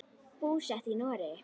Búsett í Noregi.